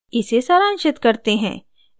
इसे सारांशित करते हैं